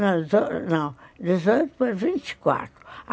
Não, dezoito, não, dezoito para vinte e quatro.